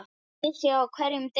Unnið sé á hverjum degi.